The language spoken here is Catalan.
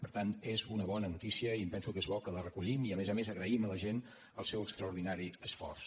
per tant és una bona notícia i em penso que és bo que la recollim i a més a més agraïm a la gent el seu extraordinari esforç